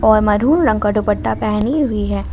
और महरूम रंग का दुप्पटा पहनी हुई है।